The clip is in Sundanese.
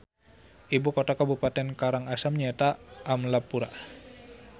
Ibu kota kabupaten Karang Asem nyaeta Amlapura